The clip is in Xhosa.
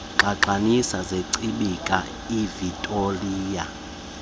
ngxangxasi zechibikazi ivictoliya